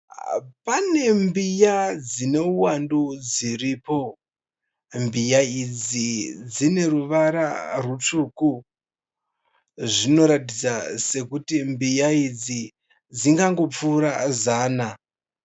Pane mbiya dzine uwandu dziripo Mbiya idzi dzine ruvara rutsvuku. Zvinoratidza sekuti mbiya idzi dzingangopfuura zana.